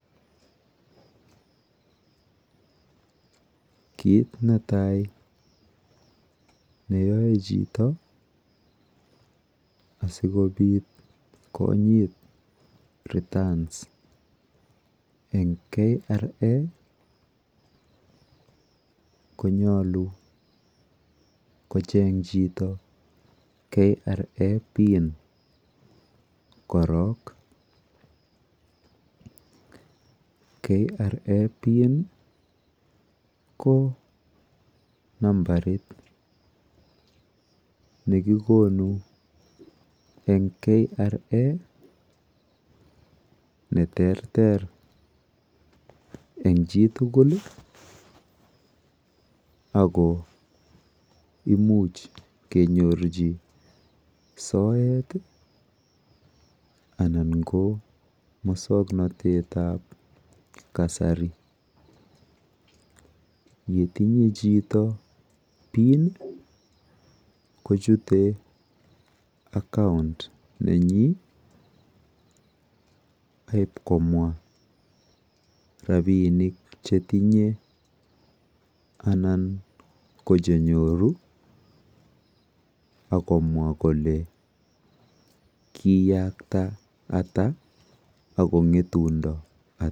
Kit netai neyae chito asikobit konyit returns eng KRA, ko nyalu kocheng chito KRA pin, KRA pin ko nambarit nekikonu eng KRA neterter eng chitukul ako imuch kenyorchi soet anan ko miswoknotetab kasari, yetinye chito pin kochute account nenyin aib komwa rapinik chetinye anan ko chenyoru akomwa kole kiyakta ata akongetundo ata.